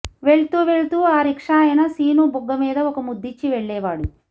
వెళ్తూ వెళ్తూ ఆ రిక్షాయన సీను బుగ్గ మీద ఒక ముద్దిచ్చి వెళ్లేవాడు